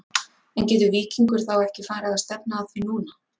En getur Víkingur þá ekki farið að stefna að því núna?